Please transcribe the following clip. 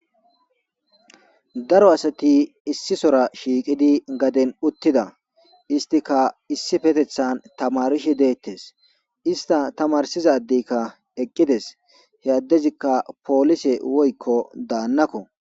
Daro asati issi sora shiiqidi gaden uttida istika issi petethan tamarishe deettes ista tamarsizadeykka eqqides he addezikka poolise woykko daannakko.